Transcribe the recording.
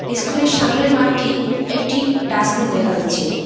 School -এর সামনের মাঠটি একটি ডাস্টবিন দেখা যাচ্চে।